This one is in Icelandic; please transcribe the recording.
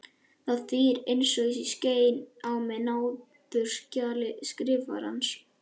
Það þýðir að ég skeini mig á náðunarskjali Skrifarans.